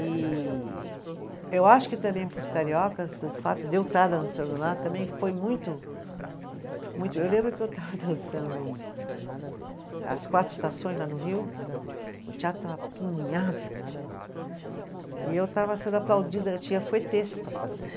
E eu acho que também para os cariocas, o fato de eu estar dançando lá também foi muito, muito. Eu lembro que eu estava dançando as quatro estações lá no Rio, o teatro estava apinhado, e eu estava sendo aplaudida, eu tinha para fazer.